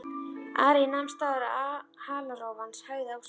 Ari nam staðar og halarófan hægði á sér.